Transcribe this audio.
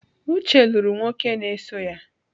Uche lụrụ nwoke na-eso ya